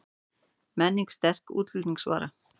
Menning sterk útflutningsvara